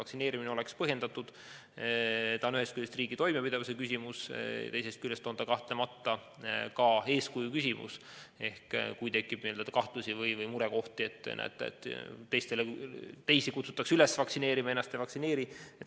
See on ühest küljest riigi toimepidevuse küsimus ja teisest küljest kahtlemata ka eeskuju küsimus, näiteks kui tekib kahtlusi või murekohti, te näete, et teisi kutsutakse üles vaktsineerima, aga nad ei vaktsineeri ennast.